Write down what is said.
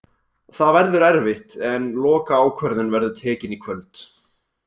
Það verður erfitt en lokaákvörðun verður tekin í kvöld.